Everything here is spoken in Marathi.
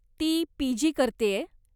ती पी.जी. करतेय.